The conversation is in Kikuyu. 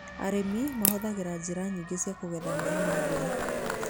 Arĩmi mahũthagĩra njĩra nyingĩ cia kũgetha maaĩ ma mbura.